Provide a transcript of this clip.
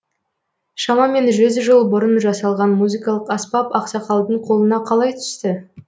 шамамен жүз жыл бұрын жасалған музыкалық аспап ақсақалдың қолына қалай түсті